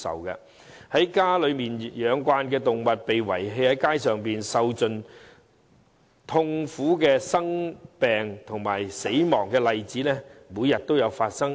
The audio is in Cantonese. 習慣被家養的動物被遺棄街上，受盡痛苦、生病及死亡的例子每天都在發生。